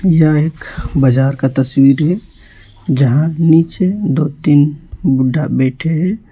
यह एक बाजार का तस्वीर है जहां नीचे दो तीन बुड्ढा बैठे हैं।